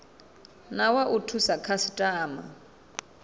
na wa u thusa khasitama